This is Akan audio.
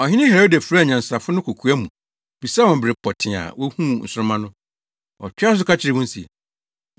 Ɔhene Herode frɛɛ anyansafo no kokoa mu bisaa wɔn bere pɔtee a wohuu nsoromma no. Ɔtoaa so ka kyerɛɛ wɔn se,